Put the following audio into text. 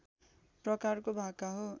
प्रकारको भाका हो